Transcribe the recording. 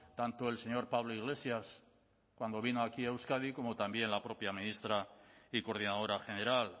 tanto el señor pablo iglesias cuando vino aquí a euskadi como también la propia ministra y coordinadora general